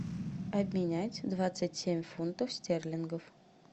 обменять двадцать семь фунтов стерлингов